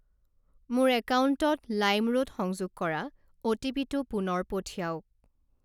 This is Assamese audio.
মোৰ একাউণ্টত লাইমৰোড সংযোগ কৰা অ'টিপিটো পুনৰ পঠিৱাওক।